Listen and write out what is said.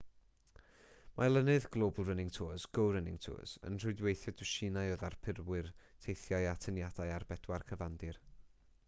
mae olynydd global running tours go running tours yn rhwydweithio dwsinau o ddarparwyr teithiau atyniadau ar bedwar cyfandir